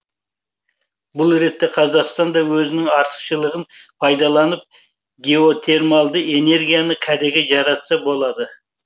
бұл ретте қазақстан да өзінің артықшылығын пайдаланып геотермалды энергияны кәдеге жаратса болады